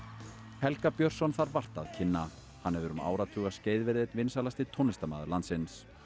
Helga Björnsson þarf vart að kynna hann hefur um áratugaskeið verið einn vinsælasti tónlistarmaður landsins